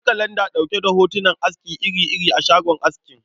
Akwai kalanda ɗauke da hotunan aski iri-iri a shagon askin.